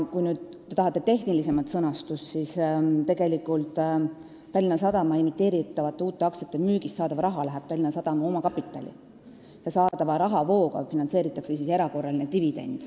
Kui te tahate tehnilisemat sõnastust, siis ütlen, et Tallinna Sadama emiteeritavate uute aktsiate müügist saadav raha arvestatakse Tallinna Sadama omakapitali hulka ja saadavast rahast finantseeritakse erakorraline dividend.